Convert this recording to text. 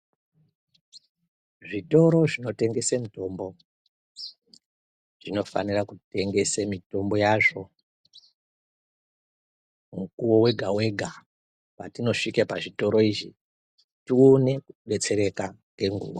Zvitoro zvinotengese mitombo zvinofanira kutengesa mitombo yazvo mukuwo wega wega patinosvika pazvitoro izhi tione kudetsereka ngenguwa.